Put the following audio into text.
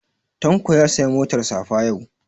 Tanko ya saya motar safa yau